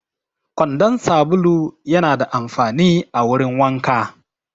Kwandon sabulu yana da amfani a wurin wanka